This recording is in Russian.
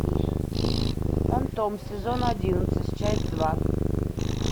фантом сезон одиннадцать часть два